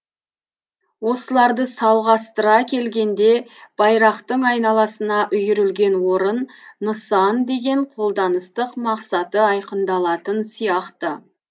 осыларды салғастыра келгенде байрақтың айналасына үйірілген орын нысан деген қолданыстық мақсаты айқындалатын сияқты